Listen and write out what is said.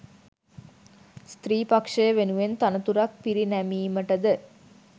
ස්ත්‍රී පක්‍ෂය වෙනුවෙන් තනතුරක් පිරිනැමීමටද